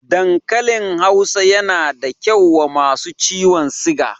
Dankalin Hausa yana da kyau wa masu ciwon siga